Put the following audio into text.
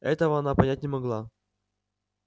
этого она понять не могла